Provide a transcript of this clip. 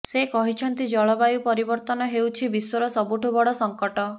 ସେ କହିଛନ୍ତି ଜଳବାୟୁ ପରିବର୍ତ୍ତନ ହେଉଛି ବିଶ୍ୱର ସବୁଠୁ ବଡ଼ ସଂକଟ